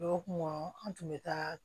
Dɔgɔkun kɔnɔ an tun bɛ taa